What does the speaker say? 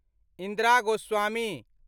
Indira Goswami